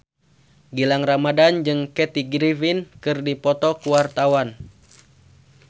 Gilang Ramadan jeung Kathy Griffin keur dipoto ku wartawan